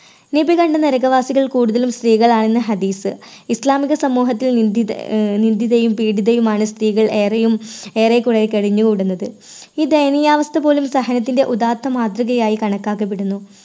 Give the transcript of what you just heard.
നബി തൻറെ കൂടുതലും സ്ത്രീകളാണ് ഹദീസ് ഇസ്ലാമിക സമൂഹത്തിൽ നിന്ദിത ആഹ് നിന്ദിതയും പീഡിതയുമാണ് സ്ത്രീകൾ ഏറെയും ഏറെക്കുറെ കഴിഞ്ഞുകൂടുന്നത്. ഈ ദയനീയ അവസ്ഥ പോലും സഹനത്തിന്റെ ഉദാത്ത മാതൃകയായി കണക്കാക്കപ്പെടുന്നു